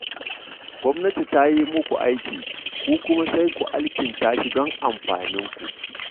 Gwamnati ta yi muku aiki, ku kuma sai ku alkinta shi don amfaninku